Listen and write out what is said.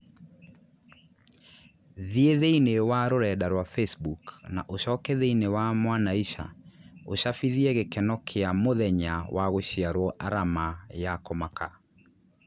Thiĩ thĩinĩ wa rũrenda rũa facebook na ũcoke thĩinĩ wa mwanaisha úcabithie gĩkeno kĩa m ũthenya wa gũciarũo arama ya kũmaka